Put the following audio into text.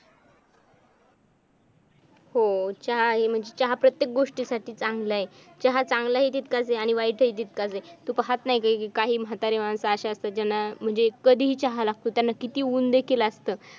हो चहा आहे चहा प्रत्येक गोष्टीसाठी चांगला आहे चहा चांगला हि तितकाच आहे आणि वाईटही तितकाच आहे तू पाहत नाही का काही म्हतारी माणस अशी असतात ज्यांना म्हणजे कधीही चहा लागतो त्यांना किती ऊन देखील असल